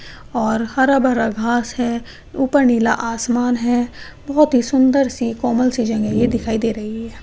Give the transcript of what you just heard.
और हरा-भरा घास है ऊपर नीला आसमान है बहुत ही सुंदर सी कोमल सी जगह ये दिखाई दे रही है ।